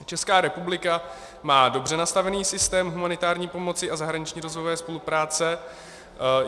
Česká republika má dobře nastavený systém humanitární pomoci a zahraniční rozvojové spolupráce.